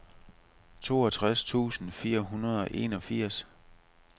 toogtres tusind fire hundrede og enogfirs